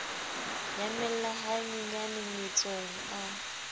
nyamella ha nyenyane mmetsong a